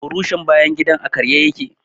Burushin bayan gidan a karye ya ke.